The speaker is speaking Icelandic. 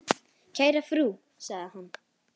Kæra frú, sagði hann.